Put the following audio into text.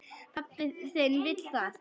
Pabbi þinn vill það.